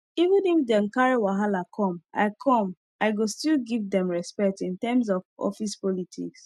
even if dem wan carry wahala come i come i go still give them respect in terms of office politics